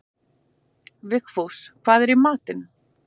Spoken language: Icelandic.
Vigfús, hvað er í matinn?